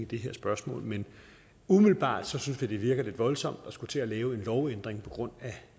det her spørgsmål men umiddelbart synes vi det virker lidt voldsomt at skulle til at lave en lovændring på grund af